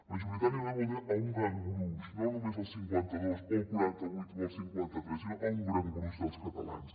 majoritàriament vol dir a un gran gruix no només al cinquanta dos o al quaranta vuit o al cinquanta tres sinó a un gran gruix dels catalans